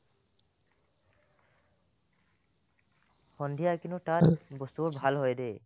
সন্ধিয়া কিন্তু তাত বস্তুবোৰ ভাল হয় দে